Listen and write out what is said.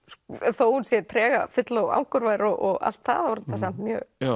þó hún sé tregafull og angurvær og allt það þá er þetta samt mjög